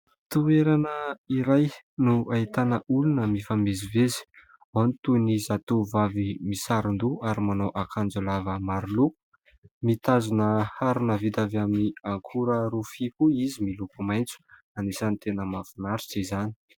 Toerana iray no ahitana olona mifamezivezy : ao ny toy ny zatovovavy misaron- doha ary manao akanjo lava maro loko mitazona harona vita avy amin'ny akora rofia koa izy miloko maitso. Anisany tena mahafinaritra izany.